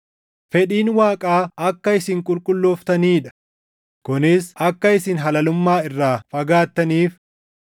Fedhiin Waaqaa akka isin qulqullooftanii dha; kunis akka isin halalummaa irraa fagaattaniif;